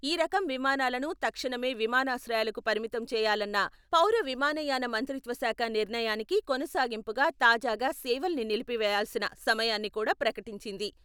ఈ రకం విమానాలను తక్షణమే విమానాశ్రయాలకు పరిమితం చేయాలన్న పౌర విమానయాన మంత్రిత్వశాఖ నిర్ణయానికి కొనసాగింపుగా తాజాగా సేవల్ని నిలిపివేయాల్సిన సమయాన్ని కూడా ప్రకటించింది.